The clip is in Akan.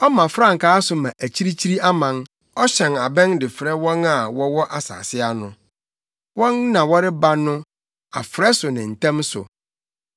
Ɔma frankaa so ma akyirikyiri aman, ɔhyɛn abɛn de frɛ wɔn a wɔwɔ asase ano. Wɔn na wɔreba no, afrɛ so ne ntɛm so!